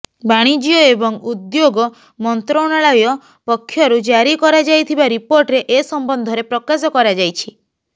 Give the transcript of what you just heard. ବାଣିଜ୍ୟ ଏବଂ ଉଦ୍ୟୋଗ ମନ୍ତ୍ରଣାଳୟ ପକ୍ଷରୁ ଜାରି କରାଯାଇଥିବା ରିପୋର୍ଟରେ ଏ ସମ୍ବନ୍ଧରେ ପ୍ରକାଶ କରାଯାଇଛି